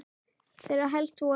Þeirra helst voru